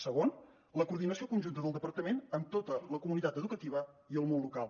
segon la coordinació conjunta del departament amb tota la comunitat educativa i el món local